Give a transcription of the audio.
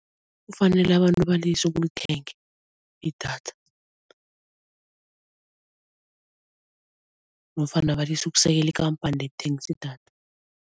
Kufanele abantu balise ukulithenga idatha nofana balise ukusekela ikhamphani ethengisa idatha.